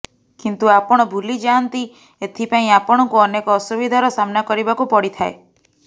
କିନ୍ତୁ ଆପଣ ଭୁଲିଯାଆନ୍ତି ଏଥିପାଇଁ ଆପଣଙ୍କୁ ଅନେକ ଅସୁବିଧାର ସାମ୍ନା କରିବାକୁ ପଡ଼ିଥାଏ